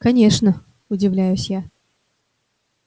конечно удивляюсь я